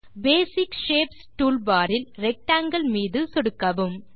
பேசிக் shapes toolbar இல் rectangle மீது சொடுக்கவும்